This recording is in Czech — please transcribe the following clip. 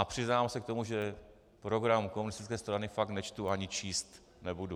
A přiznám se k tomu, že program komunistické strany fakt nečtu ani číst nebudu.